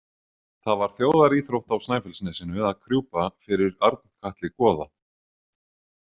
Það var þjóðaríþrótt á Snæfellsnesinu að krjúpa fyrir Arnkatli goða.